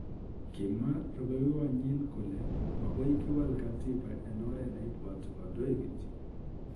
Kimwa rubeiywondenyi kole makoi kiwal katiba eng oret neibwati kandoik kityo.